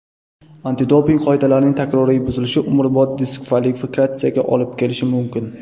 Antidoping qoidalarining takroriy buzilishi umrbod diskvalifikatsiyaga olib kelishi mumkin.